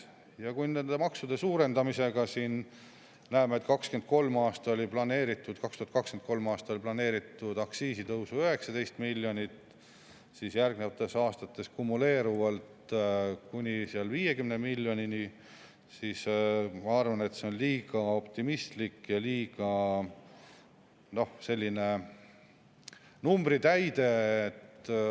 Me näeme, et nende maksude suurendamise ja aktsiisitõusudega oli 2023. aastal planeeritud 19 miljonit, järgnevatel aastatel kumuleeruvalt kuni 50 miljonini, aga ma arvan, et see on liiga optimistlik ja lihtsalt selline numbritäide.